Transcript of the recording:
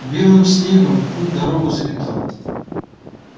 белым снегом путь-дорогу заметал